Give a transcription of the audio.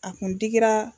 A kun digira